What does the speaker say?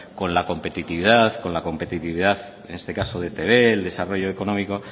con la competitividad con la competitividad en este caso de etb el desarrollo económico